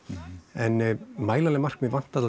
en mælanleg markmið vantar